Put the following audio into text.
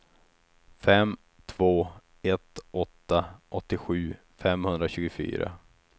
fem två ett åtta åttiosju femhundratjugofyra